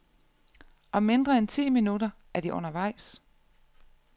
Om mindre end ti minutter er de undervejs.